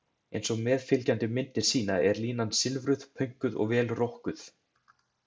Eins og meðfylgjandi myndir sýna er línan silfruð, pönkuð og vel rokkuð.